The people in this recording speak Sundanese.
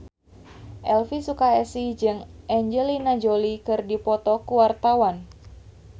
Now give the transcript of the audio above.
Elvy Sukaesih jeung Angelina Jolie keur dipoto ku wartawan